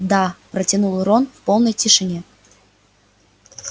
да протянул рон в полной тишине